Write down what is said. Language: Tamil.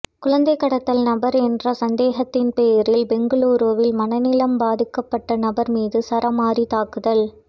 குழந்தை கடத்தல் நபர் என்ற சந்தேகத்தின் பேரில் பெங்களூருவில் மனநலம் பாதிக்கப்பட்ட நபர் மீது சரமாரி தாக்குதல்